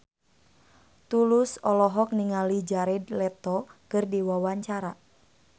Tulus olohok ningali Jared Leto keur diwawancara